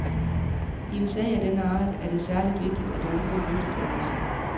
I en sag af denne art er det særligt vigtigt at undgå mytedannelse.